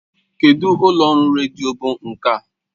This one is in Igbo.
Kedụ ụlọ ọrụ redio bụ nke a?